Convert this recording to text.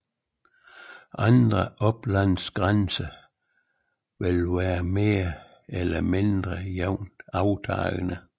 Andre oplandsgrænser vil være mere eller mindre jævnt aftagende